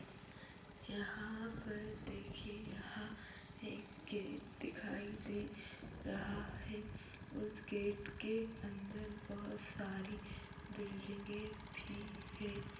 यहाँ पर देखिये यहाँ एक गेट दिखाई दे रहा हैं उस गेट के अंदर बोहोत सारी बिल्डिंगे भी हैं।